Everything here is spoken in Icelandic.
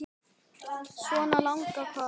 Svona lagað hvað?